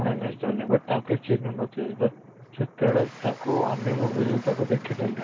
MS Dhoni but ତାକୁ କେହି ଚିହିଁ ନ ଥିଲେ but ସେତେ ବେଳେ ତାକୁ ଅନ୍ୟ movies ତାକୁ ଦେଖି ଦେଲେ